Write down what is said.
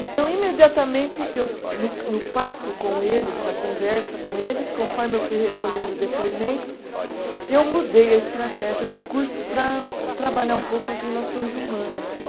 Então, imediatamente eu, no no papo com eles, na conversa com eles, conforme eu fui recolhendo depoimentos, eu mudei a estratégia de curso para trabalhar um pouco as relações humanas.